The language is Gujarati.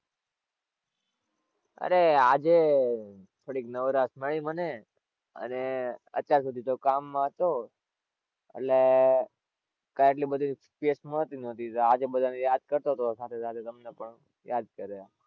અરે આજે થોડીક નવરાશ મળી મને અને અત્યાર સુધી તો કામ માં હતો, એટલે કા એટલી બધી space મળતી નહોતી તો આજે બધા ને યાદ કરતો હતો સાથે સાથે તમને પણ યાદ કર્યા.